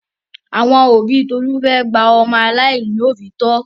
Àwọn òbí Tolú fẹ́ gba ọmọ aláìní òbí tọ́.